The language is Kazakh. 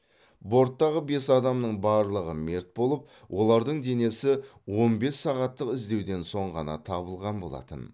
борттағы бес адамның барлығы мерт болып олардың денесі он бес сағаттық іздеуден соң ғана табылған болатын